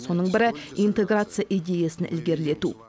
соның бірі интеграция идеясын ілгерілету